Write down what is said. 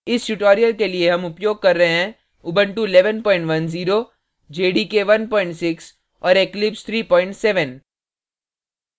इस tutorial के लिए हम उपयोग कर रहे हैं